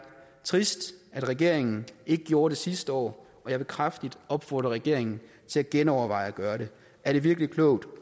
trist at regeringen ikke gjorde det sidste år og jeg vil kraftigt opfordre regeringen til at genoverveje at gøre det er det virkelig klogt